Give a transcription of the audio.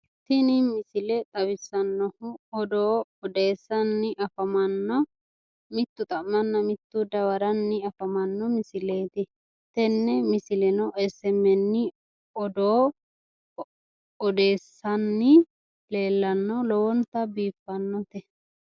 Tini misile xawisanohu odoo oddeessanni mitu xa'manna mitu dawaranna tene misileno SMN odoo odeessani lowonta biiffanote